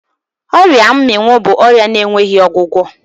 Ọria mmịnwụ bụ ọrịa na-enweghị ọgwụgwọ.